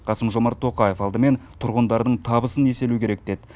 қасым жомарт тоқаев алдымен тұрғындардың табысын еселеу керек деді